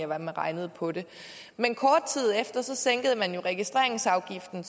man regnede på det men kort tid efter sænkede man jo registreringsafgiften